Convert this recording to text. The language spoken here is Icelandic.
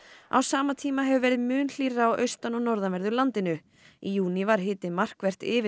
á sama tíma hefur verið mun hlýrra á austan og norðanverðu landinu í júní var hiti markvert yfir